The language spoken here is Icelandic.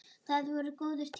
Það voru góðir tímar.